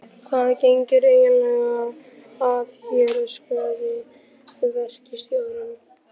Hvað gengur eiginlega að þér? öskraði verkstjórinn.